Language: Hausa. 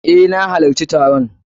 Eh, na halacci taron.